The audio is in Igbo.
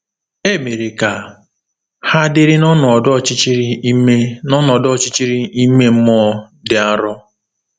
E mere ka ha dịrị n’ọnọdụ ọchịchịrị ime n’ọnọdụ ọchịchịrị ime mmụọ dị arọ.